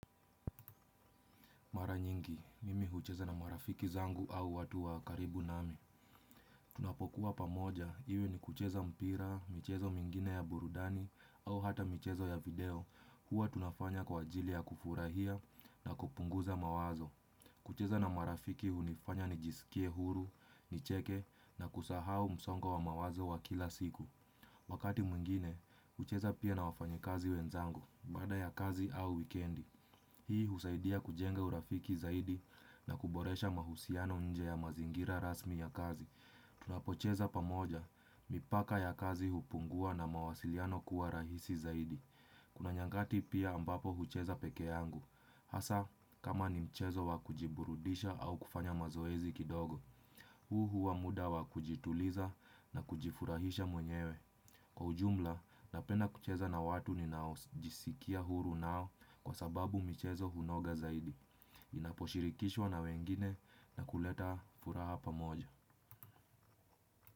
Mara nyingi, mimi hucheza na marafiki zangu au watu wa karibu nami. Tunapokuwa pamoja, iwe ni kucheza mpira, mchezo mwingine ya burudani au hata mchezo ya video, huwa tunafanya kwa ajili ya kufurahia na kupunguza mawazo. Kucheza na marafiki hunifanya nijisikie huru, nicheke na kusahau msongo wa mawazo wa kila siku. Wakati mwengine, hucheza pia na wafanyikazi wenzangu, baada ya kazi au wikendi. Hii husaidia kujenga urafiki zaidi na kuboresha mahusiano nje ya mazingira rasmi ya kazi. Tunapocheza pamoja, mipaka ya kazi hupungua na mawasiliano kuwa rahisi zaidi. Kuna nyakati pia ambapo hucheza peke yangu. Hasa, kama ni mchezo wa kujiburudisha au kufanya mazoezi kidogo. Huu huwa muda wa kujituliza na kujifurahisha mwenyewe. Kwa ujumla, napenda kucheza na watu ninaojisikia huru nao kwa sababu michezo hunoga zaidi. Inaposhirikishwa na wengine na kuleta furaha pamoja.